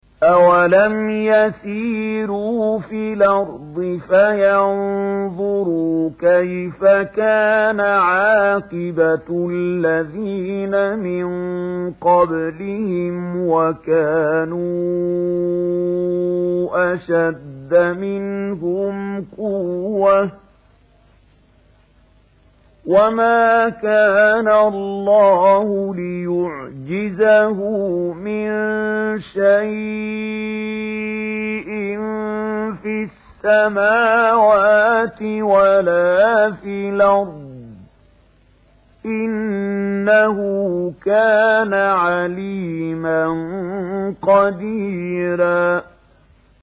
أَوَلَمْ يَسِيرُوا فِي الْأَرْضِ فَيَنظُرُوا كَيْفَ كَانَ عَاقِبَةُ الَّذِينَ مِن قَبْلِهِمْ وَكَانُوا أَشَدَّ مِنْهُمْ قُوَّةً ۚ وَمَا كَانَ اللَّهُ لِيُعْجِزَهُ مِن شَيْءٍ فِي السَّمَاوَاتِ وَلَا فِي الْأَرْضِ ۚ إِنَّهُ كَانَ عَلِيمًا قَدِيرًا